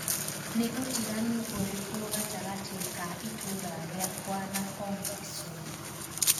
nī ūtiganu ūrīku gatagati ka ītūra rīakwa na hong kisumu